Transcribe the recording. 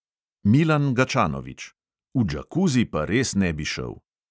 Milan gačanovič: "v džakuzi pa res ne bi šel."